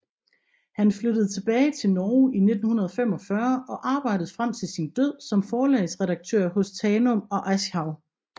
Han flyttede tilbage til Norge i 1945 og arbejdede frem til sin død som forlagsredaktør hos Tanum og Aschehoug